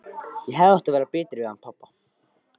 Ég hefði átt að vera betri við hann pabba.